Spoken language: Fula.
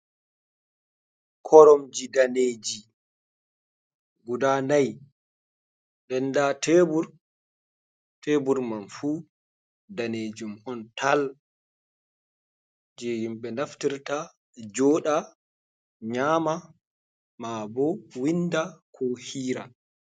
Koromji daneji guɗa nai. Ɗen ɗa tebur man fu ɗanejum on tal je himbe naftirta joɗa nyama ma bo winda ko hiira.